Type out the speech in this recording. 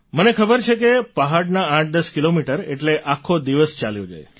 મને ખબર છે કે પહાડના 810 કિલોમીટર એટલે આખો દિવસ ચાલ્યો જાય